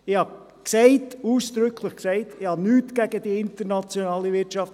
Ich habe ausdrücklich gesagt, ich habe nichts gegen die internationale Wirtschaft.